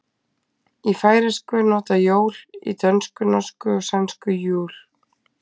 Í færeysku er notað jól, í dönsku, norsku og sænsku jul.